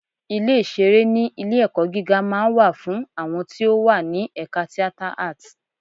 Ilé ìṣeré ní ilé-ẹ̀kọ́ gíga máa ń wà fún àwọn tí ó wà ní ẹ̀ka Theatre Art.